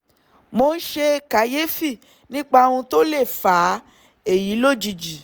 mo ń ṣe kàyéfì nípa ohun tó lè fa èyí lójijì